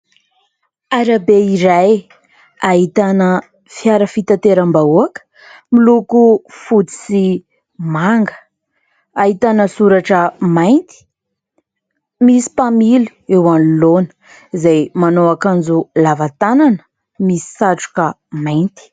Arabe iray ahitana fiara fitateram-bahoaka, miloko fotsy sy manga. Ahitana soratra mainty, misy mpamily eo anoloana izay manao akanjo lava tanana misy satroka mainty.